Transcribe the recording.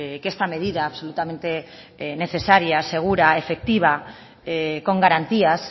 que esta medida absolutamente necesaria segura efectiva con garantías